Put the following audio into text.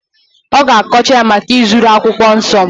ọ ga-akọcha ya maka izuru akwụkwọ nsọ